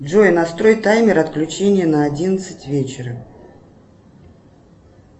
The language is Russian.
джой настрой таймер отключения на одиннадцать вечера